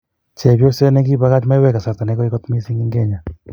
Chepyoset nekipakach maiywek kasarta negoi kot missing en kenya.